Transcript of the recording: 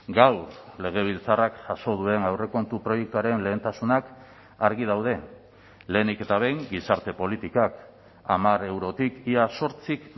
gaur legebiltzarrak jaso duen aurrekontu proiektuaren lehentasunak argi daude lehenik eta behin gizarte politikak hamar eurotik ia zortzik